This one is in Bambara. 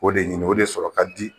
O de ɲini o de sɔrɔ ka di